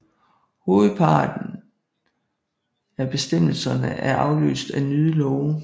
Hovedparten af bestemmelserne er afløst af nyere love